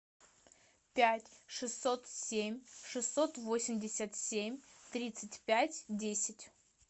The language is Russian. пять шестьсот семь шестьсот восемьдесят семь тридцать пять десять